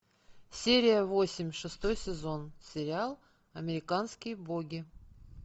серия восемь шестой сезон сериал американские боги